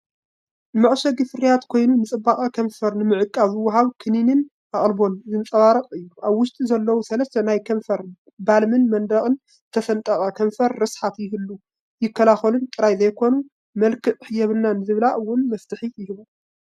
ንመዐሸጊ ፍርያት ኮይኑ፤ ንጽባቐ ከንፈር ንምዕቃብ ዝወሃብ ክንክንን ኣቓልቦን ዘንጸባርቕ እዩ። ኣብ ውሽጢ ዘለዉ ሰለስተ ናይ ከንፈር ባልም ንደረቕን ዝተሰነጠቐን ከንፈር ርስሓት ይህቡን ይከላኸሉን ጥራይ ዘይኮኑስ፤ መልክዕ የብልናን ንዝብላ እውን መፍትሒ ይህቡ።